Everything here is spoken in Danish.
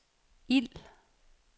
ild